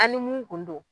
An ni mun kun don